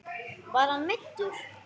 Var hann meiddur?